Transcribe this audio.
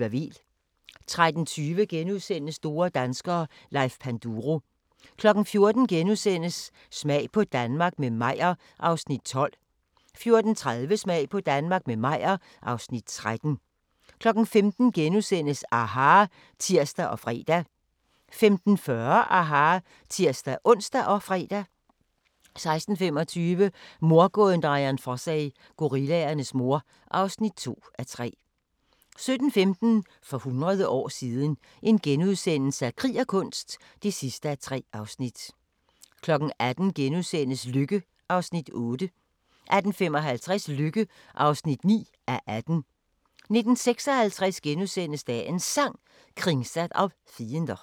13:20: Store danskere - Leif Panduro * 14:00: Smag på Danmark – med Meyer (Afs. 12)* 14:30: Smag på Danmark – med Meyer (Afs. 13) 15:00: aHA! *(tir og fre) 15:40: aHA! (tir-ons og fre) 16:25: Mordgåden Dian Fossey – Gorillaernes mor (2:3) 17:15: For hundrede år siden – Krig og kunst (3:3)* 18:00: Lykke (8:18)* 18:55: Lykke (9:18) 19:56: Dagens Sang: Kringsatt av fiender *